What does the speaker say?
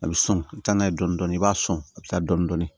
A bɛ sɔn ka taa n'a ye dɔɔnin dɔɔnin i b'a sɔn a bɛ taa dɔɔnin dɔɔnin